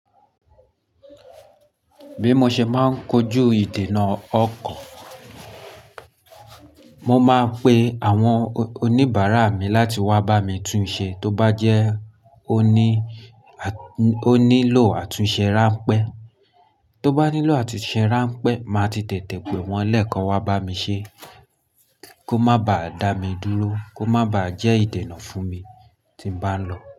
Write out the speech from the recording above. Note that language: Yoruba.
Bí mo ṣe máa ń kojú ìdènà ọkọ̀, mo máa ń pe àwọn oníbàárà mi láti wá bá mi tún un ṣe tó bá jẹ́ ó ní, ó nílò àtúnṣe ránpẹ́. Tó bá nílò àtúnṣe ránpẹ́, màá ti tètè pè wọ́n lẹ́ẹ̀ kan wá bá mi ṣe kó má ba à dá mi dúró, kó má ba à jẹ́ ìdènà fún mi tí bá ń lọ.